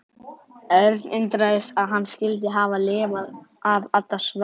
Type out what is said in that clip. Örn undraðist að hann skyldi hafa lifað af allar svaðilfarirnar.